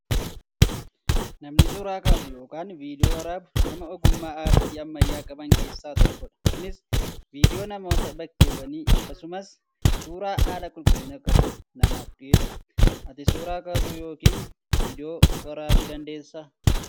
Namni suuraa kaasu yookaan viidiyoo waraabu nama ogummaa aartii ammayyaa qaban keessaa tokkodha. Kunis viidiyoo namootaa, bakkeewwanii akkasumas suuraa haala qulqullina qabuun namaaf dhiyeessu. Ati suuraa kaasuu yookaan viidiyoo waraabuu dandeessaa?